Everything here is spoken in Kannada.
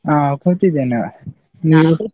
ಹಾ ಕೂತಿದ್ದೇನೆ.